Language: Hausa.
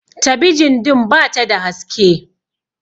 tabijin din ba ta da haske